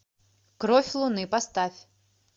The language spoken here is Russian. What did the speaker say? кровь луны поставь